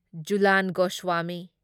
Jhulan Goswami